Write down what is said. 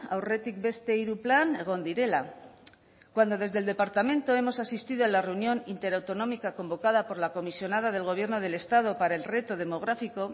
aurretik beste hiru plan egon direla cuando desde el departamento hemos asistido a la reunión interautonómica convocada por la comisionada del gobierno del estado para el reto demográfico